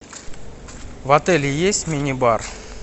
в отеле есть мини бар